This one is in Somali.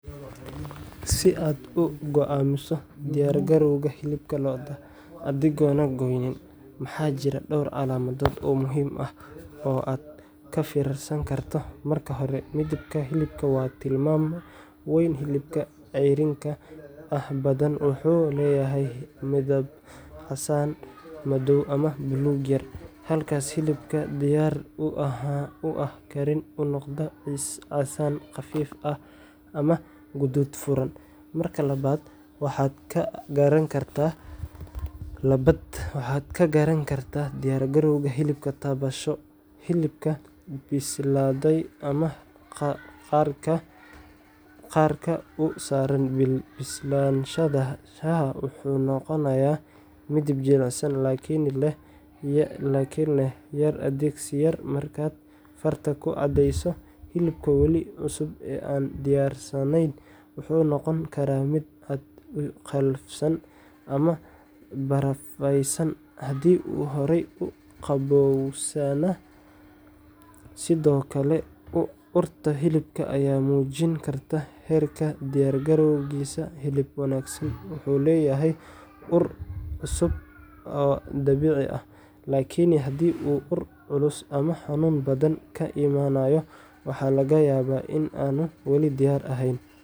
Si aad u go’aamiso diyargarowga hilibka lo’da adigoon goynin, waxaa jira dhowr calaamadood oo muhiim ah oo aad ka fiirsan karto:Marka hore, midabka hilibka waa tilmaame weyn. Hilibka ceyriinka ah badanaa wuxuu leeyahay midab casaan madow ama buluug yar, halka hilibka diyaar u ah karin uu noqdo casaan khafiif ah ama guduud furan. Marka labaad, waxaad ka garan kartaa diyaargarowga hilibka taabasho. Hilibka bislaaday ama qarka u saaran bislaanshaha wuxuu noqonayaa mid jilicsan laakiin leh yar adkeysi markaad farta ku cadaayso. Hilibka weli cusub ee aan diyaarsanayn wuxuu noqon karaa mid aad u qallafsan ama barafaysan haddii uu horey u qabowsanaa. Sidoo kale, urta hilibka ayaa muujin karta heerka diyaargarowgiisa. Hilib wanaagsan wuxuu leeyahay ur cusub oo dabiici ah, laakiin haddii uu ur culus ama xanuun badan ka imanayo, waxaa laga yaabaa in aanu weli diyaar ahayn